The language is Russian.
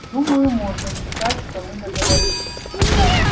думаю можно считать что мы договорились